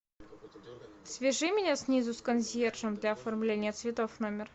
свяжи меня снизу с консьержем для оформления цветов в номер